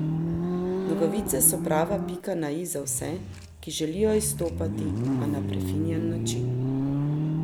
Nogavice so prava pika na i za vse, ki želijo izstopati, a na prefinjen način.